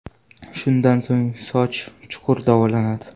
Shundan so‘ng soch chuqur davolanadi.